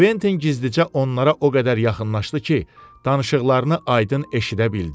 Kventin gizlicə onlara o qədər yaxınlaşdı ki, danışıqlarını aydın eşidə bildi.